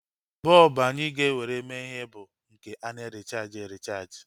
Bọlbụ anyị ga-ewere mee ihe bụ bọlbụ nke ana-erichaaji erichaaji